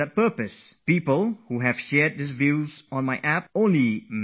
Thousands of people have used their mobile phones to post small messages on my app